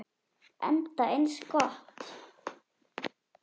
Enda eins gott.